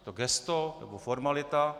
Je to gesto, nebo formalita?